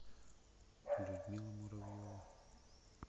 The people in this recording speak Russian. людмила муравьева